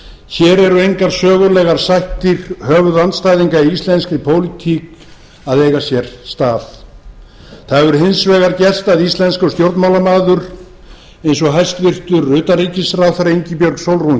hér eru engar sögulegar sættir höfuðandstæðinga í íslenskri pólitík að eiga sér stað það hefur hins vegar gerst að íslenskur stjórnmálamaður eins og hæstvirtur utanríkisráðherra ingibjörg sólrún